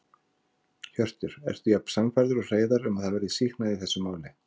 Hjörtur: Ertu jafn sannfærður og Hreiðar um að það verði sýknað í þessu máli?